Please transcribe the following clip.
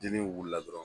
Dili wula dɔrɔn